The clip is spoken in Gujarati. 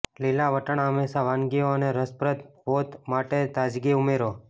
લીલા વટાણા હંમેશા વાનગીઓ અને રસપ્રદ પોત માટે તાજગી ઉમેરો